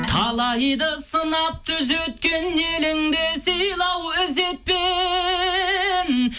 талайды сынап түзеткен еліңді сыйла ау ізетпен